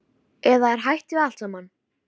Eða er hætt við allt saman?